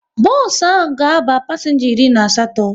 Bos ahụ ga aba pasenga iri na asatọ